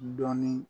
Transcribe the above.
Dɔɔnin